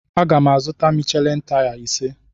Agam azụ Michelin taya ise.